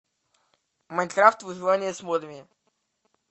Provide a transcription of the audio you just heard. майнкрафт выживание с модами